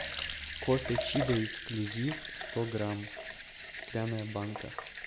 кофе чибо эксклюзив сто грамм стеклянная банка